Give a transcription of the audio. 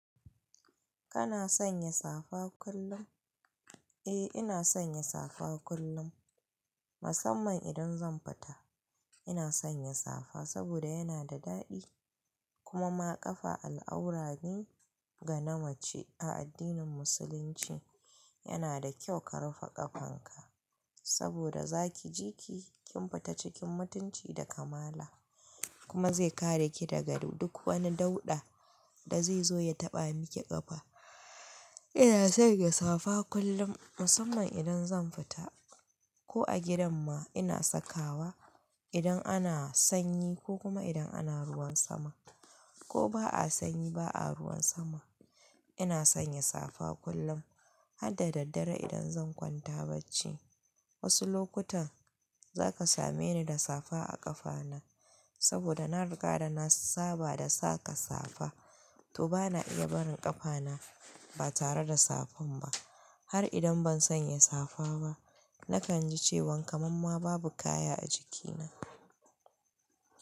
Kana sanya safa kullum? Eh ina sanya safa kullum musamman idan zan fita. Ina sanya safa saboda yana da daɗi kuma maƙafa al'aura ne ga namace a addinin musulunci. Yana da kyau ka rufe ƙafanka saboda zaki ji ki kin fita cikin mutunci da kamala kuma zai kare ki daga duk wani dauɗa da zai zo ya taɓa miki ƙafa. Ina sanya safa kullum musamman idan zan fita ko a gidan ma ina sakawa idan ana sanyi ko kuma idan ana ruwan sama ko ba a sanyi ba a ruwan sama. Ina sanya safa kullum har da daddare idan zan kwanta bacci. Wasu lokutan zaka same ni da safa a ƙafana saboda na riga da na saba da saka safa to bana iya barin ƙafana ba tare da safan ba har idan ban sanya safa ba nakan ji cewan kamam ma babu kaya a jikina.